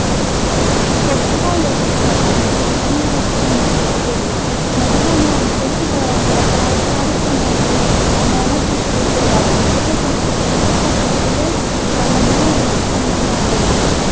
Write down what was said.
कार्यक्रमात